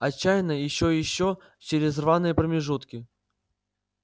отчаянно ещё и ещё через рваные промежутки